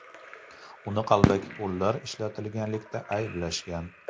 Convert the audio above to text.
Uni qalbaki pullar ishlatganlikda ayblashgan.